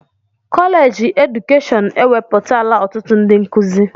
Kọleji edukeshọn ewepụtala ọtụtụ ndị nkụzi.